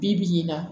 Bi bi in na